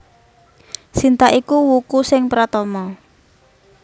Sinta iku wuku sing pratama